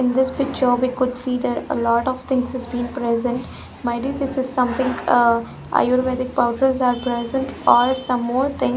in this picture we could see there a lot of things is been present might is this is something ah ayurvedic powders are present for some more thing.